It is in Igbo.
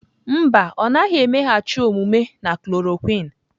Mba, ọ naghị emeghachi omume na chloroquine.